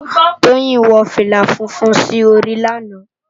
Toyin wò filá fúnfún si óri làná